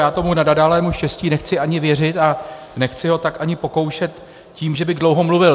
Já tomu nenadálému štěstí nechci ani věřit a nechci ho tak ani pokoušet tím, že bych dlouho mluvil.